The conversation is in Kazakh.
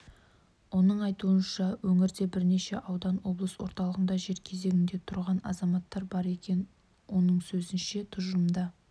оның айтуынша өңірде бірнеше ауданда облыс орталығында жер кезегінде тұрған азаматтар бар екен оның сөзінше тұжырымда